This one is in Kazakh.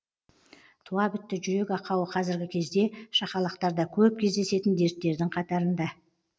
туа бітті жүрек ақауы қазіргі кезде шақалақтарда көп кездесетін дерттердің қатарында